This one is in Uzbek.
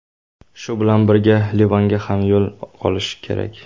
Shu bilan birga Livanga ham qoyil qolish kerak.